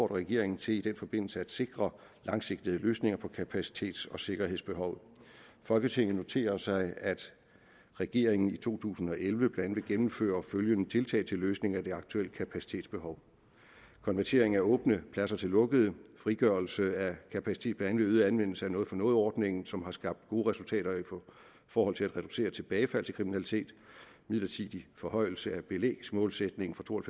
regeringen til i den forbindelse at sikre langsigtede løsninger på kapacitets og sikkerhedsbehovet folketinget noterer sig at regeringen i to tusind og elleve blandt andet vil gennemføre følgende tiltag til løsning af det aktuelle kapacitetsbehov konvertering af åbne pladser til lukkede frigørelse af kapacitet blandt øget anvendelse af noget for noget ordningen som har skabt gode resultater i forhold til at reducere tilbagefald til kriminalitet midlertidig forhøjelse af belægsmålsætningen fra to og